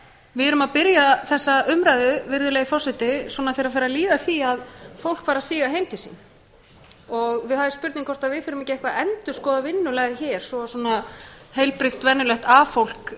við erum að byrja þessa umræðu svona þegar farið er að líða að því að fólk fari að síga heim til sín það er spurning hvort við þurfum ekki eitthvað að endurskoða vinnulag hér svo að svona heilbrigt venjulegt a fólk